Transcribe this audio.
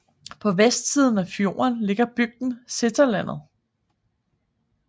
På vestsiden af fjorden ligger bygden Seterlandet